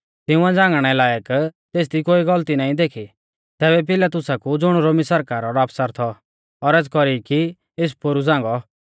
तिंउऐ झ़ांगणै लायक तेसदी कोई गलती नाईं देखी तैबै भी पिलातुसा कु ज़ुण रोमी सरकारा रौ आफसर थौ औरज़ कौरी की एस पोरु झ़ांगौ